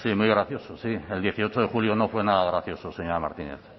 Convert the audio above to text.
muy gracioso sí el dieciocho de julio no fue nada gracioso señora martínez